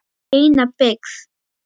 Eina byggði